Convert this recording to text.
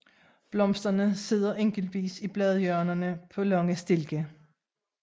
Blomsterne sidder enkeltvis i bladhjørnerne på lange stilke